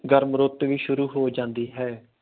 ਗਰਮ ਰੁੱਤ ਵੀ ਸ਼ੁਰੂ ਹੋ ਜਾਂਦੀ ਹੈ।